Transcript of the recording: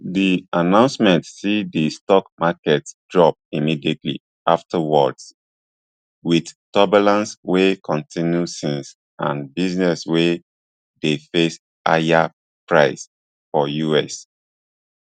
di announcement see di stock markets drop immediately afterwards with turbulence wey continue since and businesses wey dey face higher prices for us